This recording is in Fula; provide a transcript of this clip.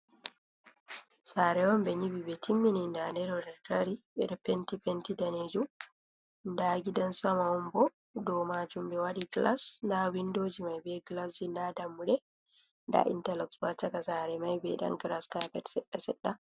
Saare on ɓe nyiɓi ɓe timmini ndaa nde ɗo nde ɗo dari, ɓe ɗo penti, penti daneejum, ndaa gidan sama on bo, dow maajum ɓe waɗi glas, ndaa windoji mai be glasji, ndaa dammuɗe, ndaa intaloks bo ha chaka saare mai, be ɗon gras kaapet seɗɗa-seɗɗa.